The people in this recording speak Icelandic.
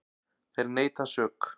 Þeir neita sök.